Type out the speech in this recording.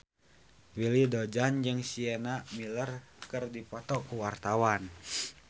Willy Dozan jeung Sienna Miller keur dipoto ku wartawan